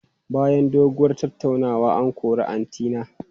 Bayan doguwar tattaunawa, an kori Atine.